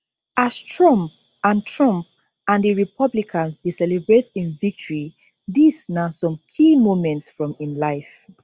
as trump and trump and di republicans dey celebrate im victory dis na some key moments from im life